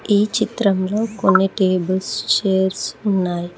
ఈ చిత్రంలో కొన్ని టేబుల్స్ చైర్స్ ఉన్నాయి.